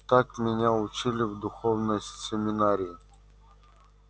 так меня учили в духовной семинарии